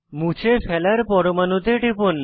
মুছে ফেলার পরমাণুতে টিপুন